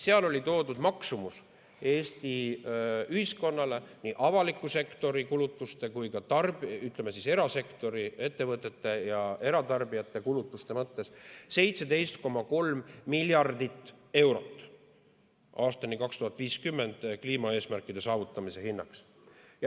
Seal oli toodud maksumus Eesti ühiskonnale nii avaliku sektori kulutuste kui ka erasektori ettevõtete ja eratarbijate kulutuste mõttes: 17,3 miljardit eurot aastani 2050 on kliimaeesmärkide saavutamise hinnaks.